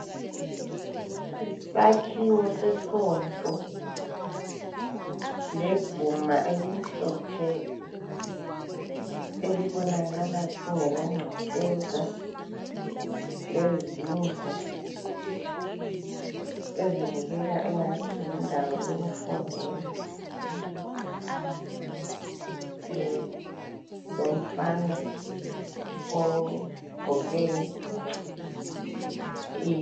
Yisakhiwo sesonto leguma elimhlophe. Elibonakala kungelangcekeza, lezindlu ezibukeka engathi yindawo yokufundela, eeh lomfana ogqoke i...